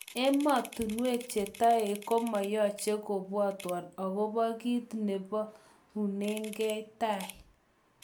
Emotinwek chetoek komoyoche kobwotwon akobo kit nolubonineng tai.